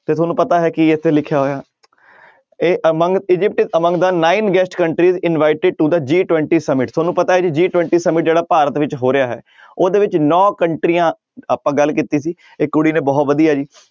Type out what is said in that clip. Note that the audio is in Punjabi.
ਤਾਂ ਤੁਹਾਨੂੰ ਪਤਾ ਹੈ ਕੀ ਇੱਥੇ ਲਿਖਿਆ ਹੋਇਆ ਇਹ among Egypt among the nine guest countries invited to the G twenty summit ਤੁਹਾਨੂੰ ਪਤਾ ਹੈ ਜੀ G twenty summit ਜਿਹੜਾ ਭਾਰਤ ਵਿੱਚ ਹੋ ਰਿਹਾ ਹੈ ਉਹਦੇ ਵਿੱਚ ਨੋਂ ਕੰਟਰੀਆਂ ਆਪਾਂ ਗੱਲ ਕੀਤੀ ਸੀ ਇੱਕ ਕੁੜੀ ਨੇ ਬਹੁਤ ਵਧੀਆ ਜੀ